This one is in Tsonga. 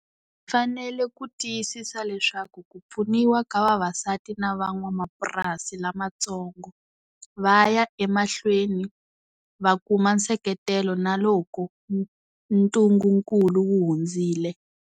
Hi fanele ku tiyisisa leswaku ku pfuniwa ka vavasati na van'wamapurasi lamantsongo va ya emahlweni va kuma nseketelo na loko ntungunkulu wu hundzile.